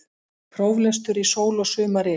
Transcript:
Próflestur í sól og sumaryl